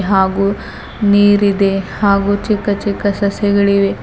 ಹಾಗೂ ನೀರಿದೆ ಹಾಗೂ ಚಿಕ್ಕ ಚಿಕ್ಕ ಸಸ್ಯಗಳಿವೆ.